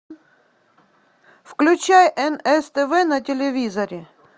включай нс тв на телевизоре